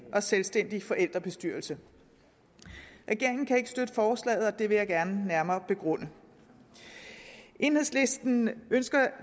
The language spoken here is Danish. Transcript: og selvstændig forældrebestyrelse regeringen kan ikke støtte forslaget og det vil jeg gerne nærmere begrunde enhedslisten ønsker